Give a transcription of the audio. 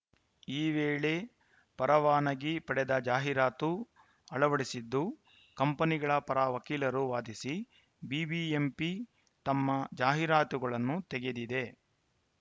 ಈ ವೇಳೆ ಪರವಾನಗಿ ಪಡೆದ ಜಾಹೀರಾತು ಅಳವಡಿಸಿದ್ದು ಕಂಪನಿಗಳ ಪರ ವಕೀಲರು ವಾದಿಸಿ ಬಿಬಿಎಂಪಿ ನಮ್ಮ ಜಾಹೀರಾತುಗಳನ್ನು ತೆಗೆದಿದೆ